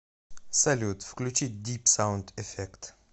салют включи дип саунд эффект